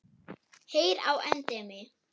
Heyr á endemi!